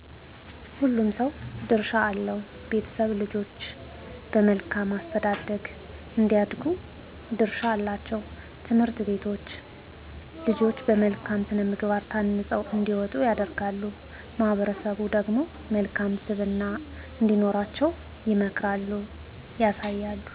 ሁሉም ሰዉ ድርሻ አለዉ ቤተሰብ ልጆች በመልካም አስተዳደግ እንዲያድጉ ድርሻ አላቸዉ ትምህርት ቤተቶች ልጆች በመልካም ስነምግባር ታንፀዉ እንዲወጡ ያደርጋሉ ማህበሠሰቡ ደግሞ መልካም ስብና እንዲኖራቸዉ ይመክራሉ ያሳያሉ